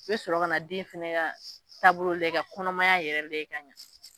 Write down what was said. I bɛ sɔrɔ ka na den fana ka taabolo lajɛ ka kɔnɔmaya yɛrɛ lajɛ ka ɲɛ